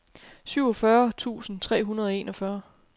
syvogfyrre tusind tre hundrede og enogfyrre